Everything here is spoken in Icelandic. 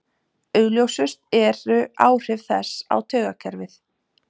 Augljósust eru áhrif þess á taugakerfið.